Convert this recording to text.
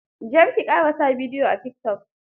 Jar ki ƙara sa bidiyo a tikitok.